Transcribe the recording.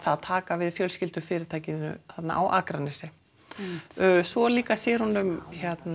að taka við fjölskyldufyrirtækinu þarna á Akranesi svo líka sér hún um